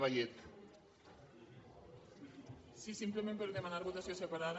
sí simplement per a demanar votació separada